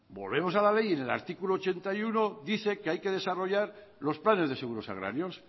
volvemos a la ley en el artículo ochenta y uno dice que hay que desarrollar los planes de seguros agrarios